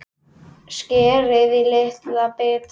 Skerið í litla bita.